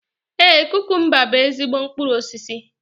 Ee, kukumba bú ezigbo mkpụrụ osisi.